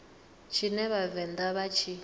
tshine vha vhavenḓa vha tshi